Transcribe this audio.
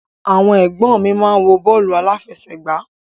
Àwọn ẹ̀gbọ́n mi ń wo bọ́ọ̀lù aláfẹsẹ̀gbá